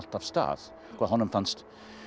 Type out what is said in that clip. af stað honum fannst